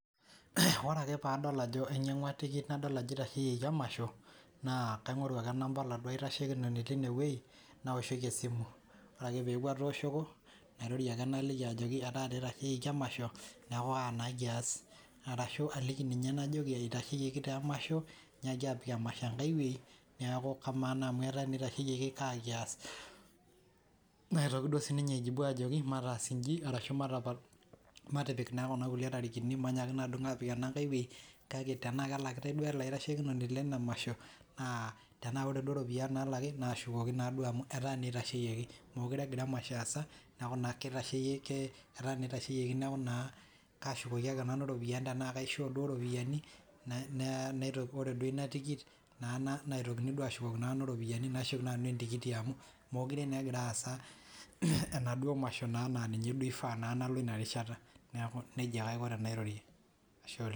oree ake paadol ajo inyangua tikit nadol ajo eitasheyioki emasho naa kaingoru aki nampa oladuo tashiekinoni leine weji nawoshoki esimu oree ake peeku atoshoko nairorie ake naliki ajoki ketaa ndii etasheyioki emasho nekuu kaa naa kias arashu aliki ninye nayii najoki eitasheyioki taa emasho inyiaki aapik emasho enkae weii neeku kamaa naa teneaku eitasheyioki kaa kias naitoki duo sininye aijibu ajoki mataas injii arashu matipik naa kuna kulie tarikin mainyaaki naa adumu apik ene nkae wei kake nenaa kelakitae duo ele tashokinoni lele masho naa tenaa ore duo iropiyiani naalaki nashukoki naa duo amu etaa naa eitasheyiekii meekure emasho aasa neeku naa keitasheyie ake etaa teineitasheyieki neeku naa kashukoki ake nanu iropiyianni tenaa kaishoo duo iropiyiani oree duo ina tikit naa naitokini naa duo ashukoki nanu iropiyiani naashuk naa nanu entikiti amu meekuure naa egira aasa enaduo mashoo naa naa ninye duo eifa naa paloo duo ina rishata neeku neija taa aiko tenairorie ashe oleng`.